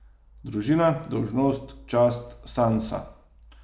Družina, dolžnost, čast, Sansa.